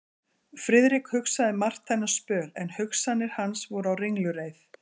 Friðrik hugsaði margt þennan spöl, en hugsanir hans voru á ringulreið.